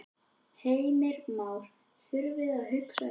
Heimir Már: Þurftirðu að hugsa þig um?